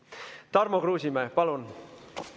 Tarmo Kruusimäe, palun!